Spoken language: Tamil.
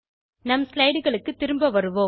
நம் slideகளுக்கு திரும்ப வருவோம்